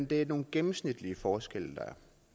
det er nogle gennemsnitlige forskelle der